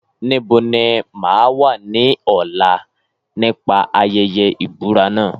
Níbo ni mà á wà ní ọ̀la nípa ayẹyẹ ìbúra náà?